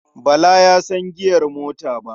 Bala ya san giyar mota ba.